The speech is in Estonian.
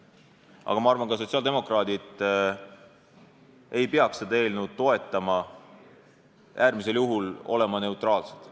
Aga ma arvan, et ka sotsiaaldemokraadid ei peaks seda eelnõu toetama, äärmisel juhul peaksid nad olema neutraalsed.